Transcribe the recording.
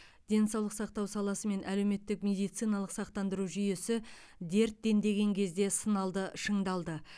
денсаулық сақтау саласы мен әлеуметтік медициналық сақтандыру жүйесі дерт дендеген кезде сыналды шыңдалды